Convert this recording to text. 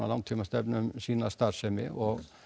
langtímastefnu um sína starfsemi og